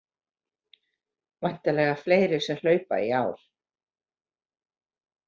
Væntanlega fleiri sem hlaupa í ár